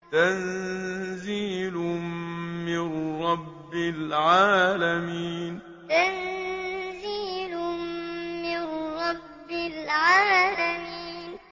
تَنزِيلٌ مِّن رَّبِّ الْعَالَمِينَ تَنزِيلٌ مِّن رَّبِّ الْعَالَمِينَ